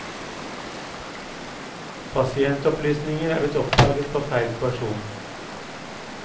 Pasientopplysninger er blitt oppdaget på feil person.